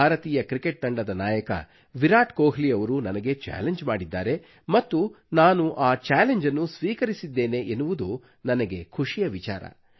ಭಾರತೀಯ ಕ್ರಿಕೆಟ್ ತಂಡದ ನಾಯಕ ವಿರಾಟ್ ಕೊಹ್ಲಿಯವರು ನನಗೆ ಚಾಲೆಂಜ್ ಮಾಡಿದ್ದಾರೆ ಮತ್ತು ನಾನು ಆ ಚಾಲೆಂಜ್ ಅನ್ನು ಸ್ವೀಕರಿಸಿದ್ದೇನೆ ಎನ್ನುವುದು ನನಗೆ ಖುಷಿಯ ವಿಚಾರ